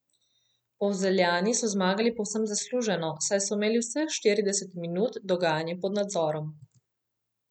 Polzeljani so zmagali povsem zasluženo, saj so imeli vseh štirideset minut dogajanje pod nadzorom.